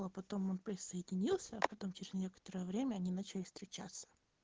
а потом он присоединился а потом через некоторое время они начали встречаться